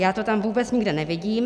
Já to tam vůbec nikde nevidím.